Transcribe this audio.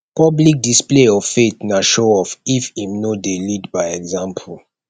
public display of faith na show off if im no de lead by example